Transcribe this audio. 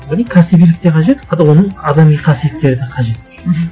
одан кейін кәсібилік те қажет оның адами қасиеттері де қажет мхм